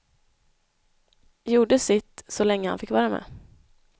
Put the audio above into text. Gjorde sitt, så länge han fick vara med.